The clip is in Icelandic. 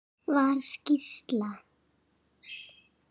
Var skýrsla